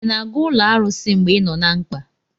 ị na-aga ụlọ arụsị mgbe ị nọ na mkpa?